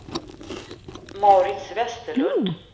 Mauritz Vesterlund